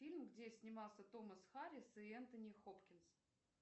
фильм где снимался томас харрис и энтони хопкинс